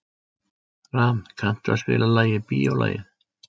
Ram, kanntu að spila lagið „Bíólagið“?